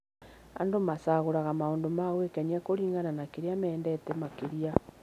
Andũ macagũraga maũndũ ma gwĩkenia kũringana na kĩrĩa mendete makĩria.